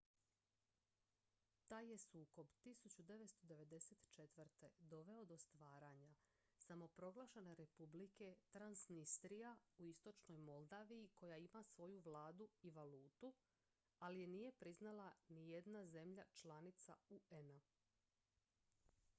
taj je sukob 1994. doveo do stvaranja samoproglašene republike transnistria u istočnoj moldaviji koja ima svoju vladu i valutu ali je nije priznala nijedna zemlja članica un-a